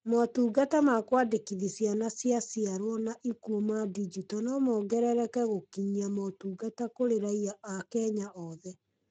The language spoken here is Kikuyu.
Motungata ma kũandĩkithia ciana cia ciarwo na ikuo ma ndinjito no mongerere gũkinyia motungata kũrĩ raiya a Kenya oothe.